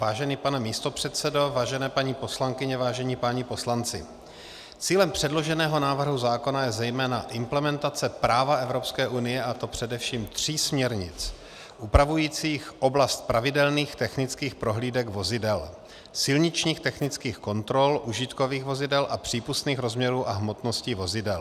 Vážený pane místopředsedo, vážené paní poslankyně, vážení páni poslanci, cílem předloženého návrhu zákona je zejména implementace práva Evropské unie, a to především tří směrnic upravujících oblast pravidelných technických prohlídek vozidel, silničních technických kontrol užitkových vozidel a přípustných rozměrů a hmotností vozidel.